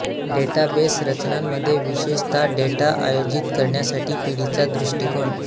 database रचनांमध्ये विशेषता data आयोजित करण्यासाठी पिढीचा दृष्टीकोन